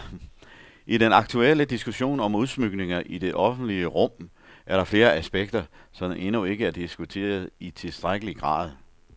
I den aktuelle diskussion om udsmykninger i det offentlige rum er der flere aspekter, som endnu ikke er diskuteret i tilstrækkelig grad.